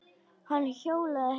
Hann hjólaði heim.